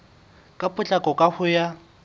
ka potlako ka ho ya